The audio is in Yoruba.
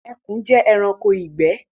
Ẹkùn jẹ́ ẹranko ìgbẹ́